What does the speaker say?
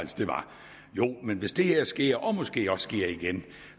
hvis det her sker og måske også sker igen